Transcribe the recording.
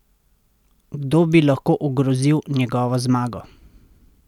Kdo bi lahko ogrozil njegovo zmago?